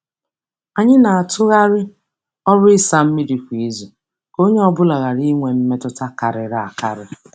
Anyị na-atụgharị ọrụ ịsa mmiri kwa izu ka onye ọ bụla ghara inwe mmetụta karịrị akarị.